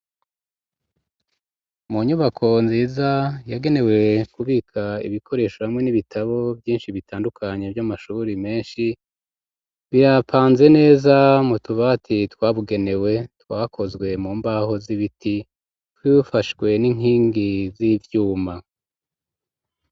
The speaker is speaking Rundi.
Mu nyubako nziza yagenewe kubika ibikoresho hamwe n'ibitabo vyishi bitandukanye vy'amashuri meshi birapanze neza mu tubati twabugenewe twakozwe mu mbaho z'ibiti dufashwe n'inkingi z'ivyuma.